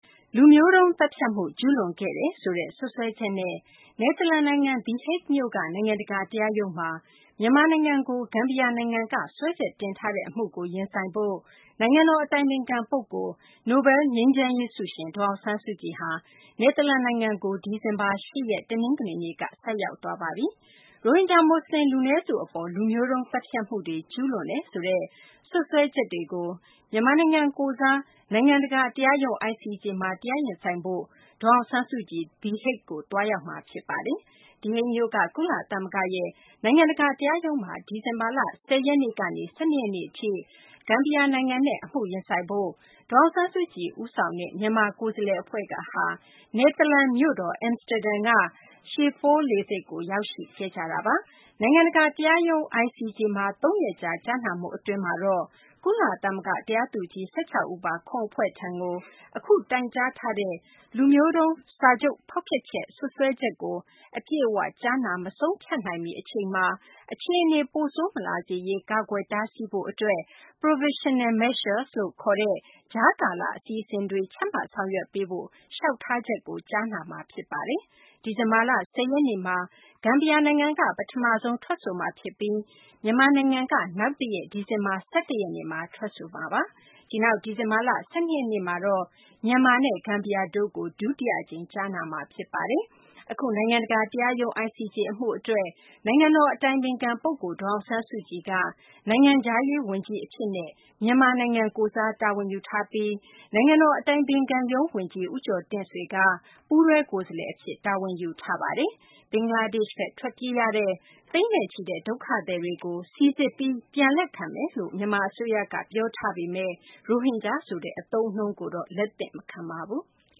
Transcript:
လူမျိုးတုံးသတ်ဖြတ်မှု ကျူးလွန်ခဲ့တယ်ဆိုတဲ့ စွပ်စွဲချက်နဲ့ The Hague မြို့က နိုင်ငံတကာတရားရုံးမှာ မြန်မာနိုင်ငံအပေါ် ဂမ်ဘီယာနိုင်ငံက စွဲချက်တင်ထားတဲ့အမှုကို ရင်ဆိုင်ဖို့ နိုင်ငံတော် အတိုင်ပင်ခံပုဂ္ဂိုလ် နိုဘဲလ် ငြိမ်းချမ်းရေးဆုရှင် ဒေါ်အောင်ဆန်းစုကြည်ဟာ နယ်သာလန်နိုင်ငံကို ဒီဇင်ဘာလ ၈ ရက် တနင်္ဂနွေနေ့က ရောက်ရှိသွားပါပြီ။ ရိုဟင်ဂျာ မွတ်စလင် လူနည်းစုအပေါ် လူမျိုးတုံးသတ်ဖြတ်မှုတွေ ကျူးလွန်တယ်ဆိုတဲ့ စွပ်စွဲချက်တွေကို မြန်မာနိုင်ငံကိုယ်စား နိုင်ငံတကာ တရားရုံး (ICJ) မှာ တရားရင်ဆိုင်ဖို့ ဒေါ်အောင်ဆန်းစုကြည် The Hague မြို့ကို သွားရောက်မှာ ဖြစ်ပါတယ်။ The Hague မြို့က ကုလသမဂ္ဂရဲ့ နိုင်ငံတကာ တရားရုံးမှာ ဒီဇင်ဘာလ ၁၀ ရက်နေ့ကနေ ၁၂ ရက်နေ့ထိ ဂမ်ဘီယာနိုင်ငံနဲ့ အမှုရင်ဆိုင်ဖို့ ဒေါ်အောင်ဆန်းစုကြည်ဦးဆောင်တဲ့ မြန်မာကိုယ်စားလှယ်အဖွဲ့ဟာ နယ်သာလန်နိုင်ငံ မြို့တော် Amsterdam က Schiphol လေဆိပ်ကို ရောက်လာကြတာပါ။ နိုင်ငံတကာ တရားရုံး (ICJ) မှာ ၃ ရက်ကြာ ကြားနာမှုအတွင်းမှာတော့ ကုလသမဂ္ဂ တရားသူကြီး ၁၆ ဦးပါ ခုံအဖွဲ့ထံကို အခုတိုင်ကြားထားတဲ့ လူမျိုးတုံးစာချုပ် ဖောက်ဖျက်ချက် စွပ်စွဲချက်ကို အပြည့်အ၀ ကြားနာ မဆုံးဖြတ်နိုင်မီအချိန်မှာ အခြေအနေ ပိုဆိုးမလာစေရေး ကာကွယ်တားဆီးဖို့အတွက် Provisional Measures လို့ ခေါ်တဲ့ ကြားကာလ အစီအစဉ် ချမှတ်ဆောင်ရွက်ပေးဖို့ လျှောက်ထားချက်ကို ကြားနာမှာ ဖြစ်ပါတယ်။ ဒီဇင်ဘာလ ၁၀ ရက်နေ့မှာ ဂမ်ဘီယာနိုင်ငံက ပထမဆုံး ထွက်ဆိုမှာ ဖြစ်ပြီး မြန်မာနိုင်ငံက နောက်တရက် ဒီဇင်ဘာ ၁၁ ရက်နေ့မှာ ထွက်ဆိုမှာပါ။ ဒီနောက် ဒီဇင်ဘာလ ၁၂ ရက်နေမှာတော့ မြန်မာနဲ့ ဂမ်ဘီယာတို့ကို ဒုတိယအကြိမ် ကြားနာမှာ ဖြစ်ပါတယ်။ အခု နိုင်ငံတကာတရားရုံး (ICJ) အမှု အတွက် နိုင်ငံတော် အတိုင်ပင်ခံ ပုဂ္ဂိုလ် ဒေါ်အောင်ဆန်းစုကြည်က နိုင်ငံခြားရေးဝန်ကြီး အဖြစ်နဲ့ မြန်မာနိုင်ငံကိုယ်စား တာဝန်ယူထားပြီး နိုင်ငံတော် အတိုင်ပင်ခံရုံး ဝန်ကြီး ဦးကျော်တင့်ဆွေက ပူးတွဲ ကိုယ်စားလှယ်အဖြစ် တာဝန်ယူထားပါတယ်။ ဘင်္ဂလားဒေရှ့်ဘက် ထွက်ပြေးရတဲ့ သိန်းနဲ့ချီတဲ့ ဒုက္ခသည်တွေကို စိစစ်ပြီး လက်ခံမယ်လို့ မြန်မာအစိုးရက ပြောဆိုထားပေမယ့် ရိုဟင်ဂျာဆိုတဲ့ အသုံးအနှုန်းကိုတော့ လက်မခံပါဘူး။